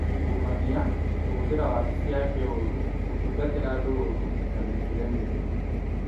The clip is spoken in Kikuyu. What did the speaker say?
ungumania, kũhũthĩra wabici yake ũũru, gũtungatĩra andũ ũũru, na mĩthiĩre mĩũru.